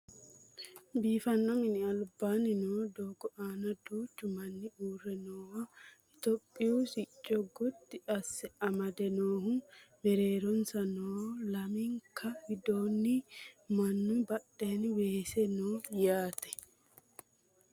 Biifanno mini albaanni noo doogo aana duuchu manni uurre noowa Itiyophiyu sicco gotti asse amade noohu mereeronsa no lamenka widoonni minu badheenni weese no yaate